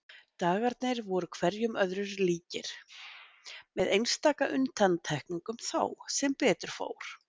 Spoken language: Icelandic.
Dagarnir voru hverjir öðrum líkir, með einstaka undantekningum þó, sem betur fór.